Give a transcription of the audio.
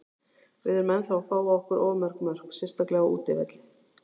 Við erum ennþá að fá á okkur of mörg mörk, sérstaklega á útivelli.